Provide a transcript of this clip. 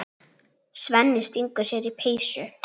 Svenni stingur sér í peysu.